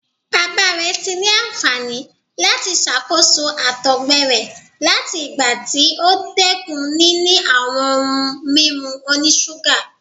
Baba rẹ ti ni anfani lati ṣakoso àtọgbẹ rẹ lati igba ti o dẹkun nini awọn ohun mimu onisuga